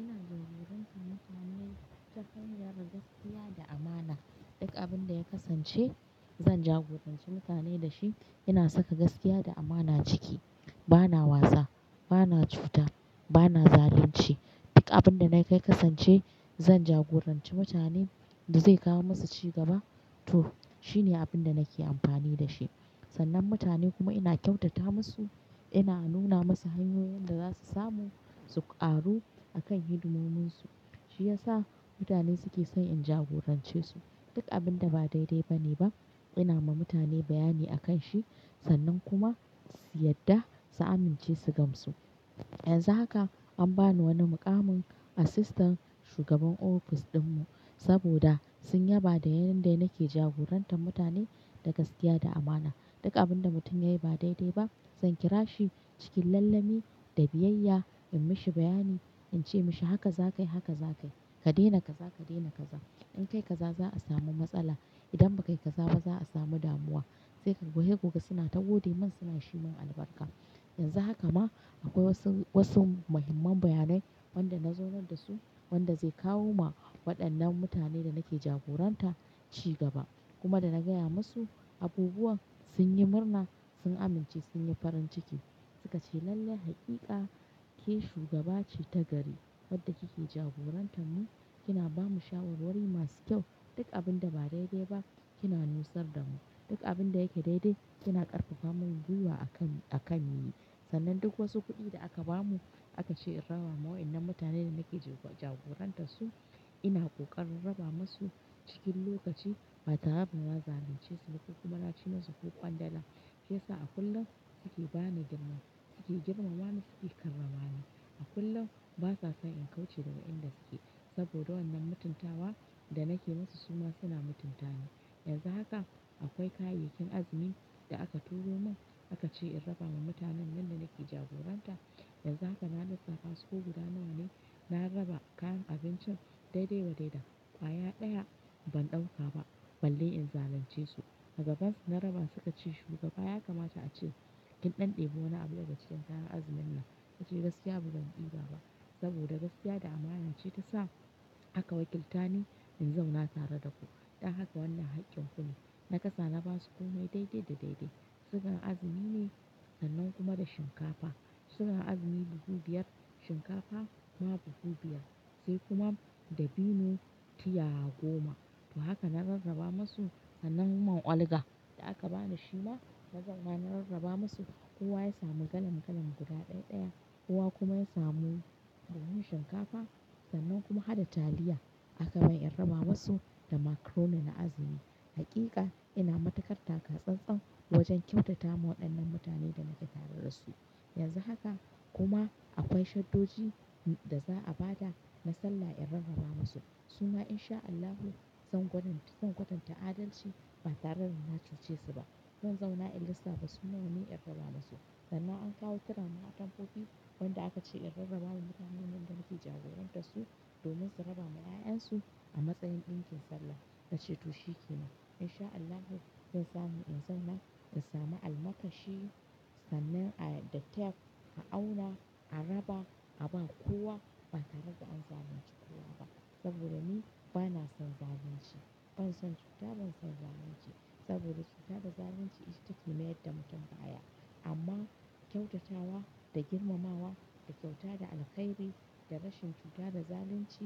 Ina jagoranci mutane ta hanyar gaskiya da amana. Duk abin da ya kasance zan jagoranci mutane da shi, ina saka gaskiya da amana ciki. Bana wasa, bana cuta, bana zalunci. Duk abin da na kai kasance zan jagoranci mutanen da zai kawo masu cigaba, to shine abin da nake amfani da shi. Sannan mutane kuma ina kyautata masu, ina nuna masu hanyoyin da za su samu su ƙaru a kan hidimominsu. Shi ya sa mutane suke son in jagorance su. Duk abin da ba daidai ba ne ba, ina ma mutane bayani akan shi sannan kuma su yadda su amince su gamsu. Yanzu haka an ba ni wani muƙamin Assistant Shugaban ofis ɗinmu saboda sun yaba da yanayin da nake jagorantar mutane da gaskiya da amana. Duk abin da mutum yayi ba daidai ba, zan kira shi cikin lallemi da biyayya, in mishi bayani, in ce mashi haka za ka yi, haka za ka yi. Ka daina kaza, ka daina kaza. In ka yi kaza za a samu matsala. Idan ba ka yi kaza ba za a samu damuwa. Sai ka ga suna ta gode min suna shimun albarka. Yanzu haka ma akwai wasu, wasu muhimman bayanai wanda na zaunar da su wanda zai kawo ma waɗannan mutane da nake jagoranta cigaba. Kuma da na gaya masu abubuwan sun yi murna, sun amince, sun yi farin ciki. Suka ce lalle haƙiƙa ke shugaba ce ta gari. Wadda kike jagorantar mu kina ba mu shawarwari masu kyau. Duk abin da ba daidai ba kina nusa da mu. Duk abin da yake daidai kina ƙarfafa mana gyiwa a kan, a kan yi. Sannan duk wasu kuɗi da aka ba mu aka ce in raba ma wadanan mutanen da nake jagoranta su ina ƙoƙarin raba masu cikin lokaci ba tare da na zalunce su ko kuma na ci masu ko kwandala. Shi ya sa a kullum suke ba ni girmama, suke girmama ni suke karramani. A kullum ba sa son in kauce daga inda suke saboda wannan mutuntawa da nake musu su ma suna mutunta ni. Yanzu haka akwai kayayyakin azumi da aka turo mun aka ce in raba ma mutanen nan da nake jagoranta. Yanzu haka na lissafa su ko guda nawa ne. Na raba kayan abincin daidai wa daida. Kwaya ɗaya ban ɗauka ba balle in zalunce su. A gaban su na raba suka ce shugaba ya kamata a ce kin ɗanɗebi wani abu da ga cikin kayan azumin nan. Na ce gaskiya ba zan diba ba saboda gaskiya da amana ce ta sa aka wakilta ni in zauna tare da ku. Dan haka wannan haƙƙin ku ne. Na kasa na ba su ko me daidai da daidai. Sugan azumi ne sannan kuma da shinkafa. Sugan azumi buhu biyar, shinkafa ma buhu biyar sai kuma dabino tiya goma. To haka na rarraba masu sannan man ƙwalga da aka bani shi ma na zauna na rarraba masu. Kowa ya samu galan galan guda ɗaya ɗaya, kowa kuma ya samu buhun shinkafa. Sannan kuma, hadda taliya aka ba ni in raba masu da macaroni na azumi. Haƙiƙa ina matukar ta ƙa tsatsan wajen kyautata ma waɗannan mutane da nake tare da su. Yanzu haka kuma akwai shaddoji da za a ba da na salla in rarraba masu. Su ma In sha Allahu zan kwatanta, zan kwatanta adalci ba tare da na cuce su ba. Zan zauna in lissafa su nawa ne in raba masu. Sannan an kawo turama atamfofi wanda aka ce in rarraba wa mutanen nan da nake jagoranta su domin su raba ma 'ya'yan su a matsayin ɗinkin Sallah. Na ce to shi ke nan. In sha Allahu zan sami in zauna in sami almakashi sannan a da taf, a auna, a raba, a ba kowa ba tare da an zalunci kowa ba. Saboda ni bana son zalunci. Ban son cuta, ban son zalunci. Saboda cuta da zalunci ita take mayar da mutum baya. Amma kyautatawa da girmamawa da kyauta da alkhairi da rashin cuta da zalunci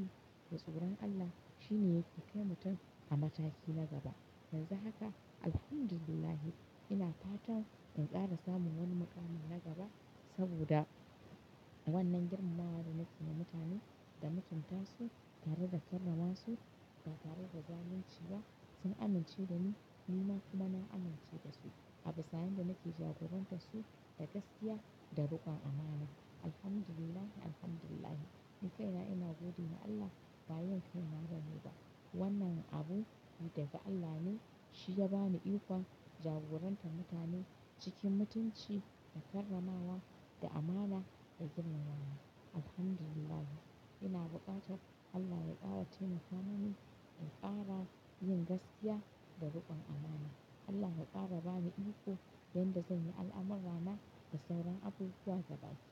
da tsoron Allah shi ne yake kai mutum a mataki na gaba. Yanzu haka Alhamdulillah ina fatan in ƙara samun wani muƙami na gaba saboda wannan girmamawar da na ci na mutane da mutunta su tare da karramawa su ba tare da zalunci ba. Sun amince da ni, ni ma kuma na amince da su a bisa yan da nake jagoranta su da gaskiya da riƙon amana. Alhamdulillah, Alhamdulillah. Nikaina ina gode wa Allah ba yaban kai na nake ba. Wannanan abu daga Allah ne. Shi ya ba ni iko jagorantar mutane cikin mutunci da karramawa da amana da girmamawa. Alhamdulillah. Ina buƙatar Allah ya ƙara taimaka mini in ƙara yin gaskiya da riƙon amana. Allah ya ƙara ba ni iko don da zai yi al'amurra na da sauran abubuwa gaba ki daya.